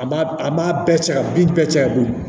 A b'a a b'a bɛɛ cɛ ka bin bɛɛ cɛ ka bin